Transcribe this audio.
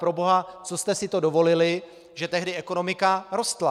Proboha, co jste si to dovolili, že tehdy ekonomika rostla?